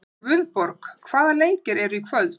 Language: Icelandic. Guðborg, hvaða leikir eru í kvöld?